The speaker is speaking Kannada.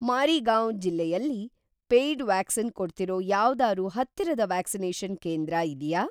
ಮಾರಿಗಾವ್ ಜಿಲ್ಲೆಯಲ್ಲಿ ‌ ಪೇಯ್ಡ್ ವ್ಯಾಕ್ಸಿನ್ ಕೊಡ್ತಿರೋ ‌ಯಾವ್ದಾರೂ ಹತ್ತಿರದ ವ್ಯಾಕ್ಸಿನೇಷನ್‌ ಕೇಂದ್ರ ಇದ್ಯಾ?